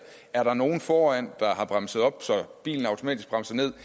er nogen foran der har bremset op så bilen automatisk bremser ned